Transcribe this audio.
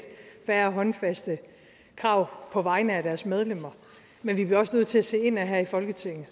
færre håndfaste krav på vegne af deres medlemmer men vi bliver også nødt til at se indad her i folketinget